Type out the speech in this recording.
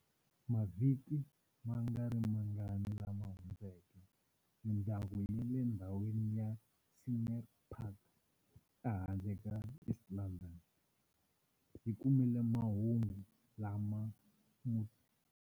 Mavhiki mangarimangani lama hundzeke mindyangu ya le ndhawini ya Scenery Park ehandle ka East London, yi kumile mahungu lama mutswari.